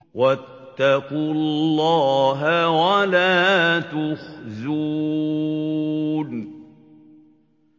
وَاتَّقُوا اللَّهَ وَلَا تُخْزُونِ